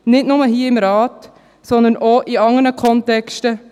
nicht nur hier im Rat, sondern auch in anderen Kontexten.